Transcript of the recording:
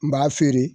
N b'a feere